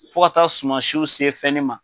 Fo ka taa sumansiw se fɛn ne ma.